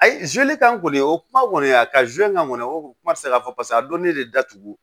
Ayi kan kɔni o kuma kɔni a ka kan kɔni o kuma tɛ se ka fɔ paseke a dɔn ne de datugu